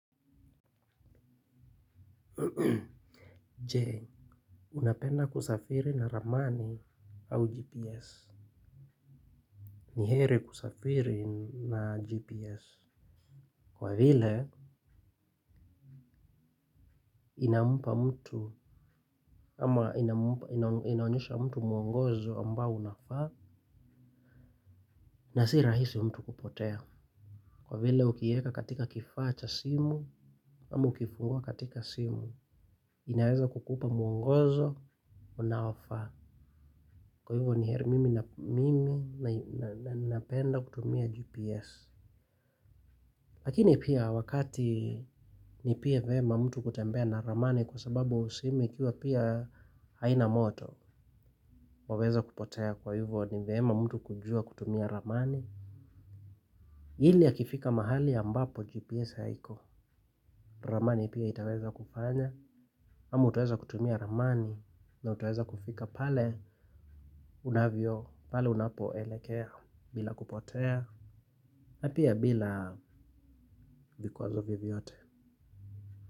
Je. Unapenda kusafiri na ramani au GPS. Ni heri kusafiri na GPS. Kwa vile inampa mtu ama inampa inaonyesha mtu mwongozo ambao unafaa na si rahisi mtu kupotea. Kwa vile ukiieka katika kifaa cha simu ama ukifungua katika simu inaweza kukupa mwongozo unaofaa. Kwa hivyo ni heri mimi na mimi napenda kutumia GPS. Lakini pia wakati ni pia vema mtu kutembea na ramani kwa sababu simu ikiwa pia haina moto. Waweza kupotea kwa hivyo ni vema mtu kujua kutumia ramani. Ili akifika mahali ambapo GPS haiko ramani pia itaweza kufanya ama utaweza kutumia ramani na utaweza kufika pale unavyo pale unapoelekea bila kupotea na pia bila vikwazo vyovyote.